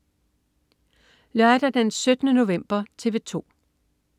Lørdag den 17. november - TV 2: